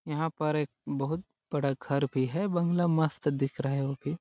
यहाँ पर एक बहुत बड़ा घर भी है बंगला मस्त दिख रहा है वो भी--